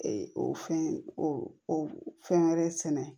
Ee o fɛn o o fɛn wɛrɛ sɛnɛ